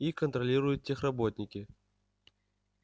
и контролируют техработники